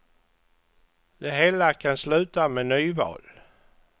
Det hela kan sluta med nyval.